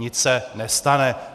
Nic se nestane.